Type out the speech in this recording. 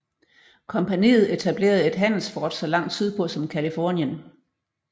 Kompagniet etablerede et handelsfort så langt sydpå som Californien